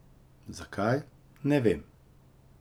Zakaj, ne vem.